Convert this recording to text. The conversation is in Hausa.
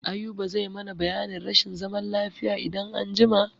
Ayuba zai mana biyanin rashin zaman lafiya idan an jima.